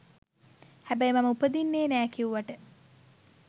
හැබැයි මම උපදින්නෙ නෑ කිවුවට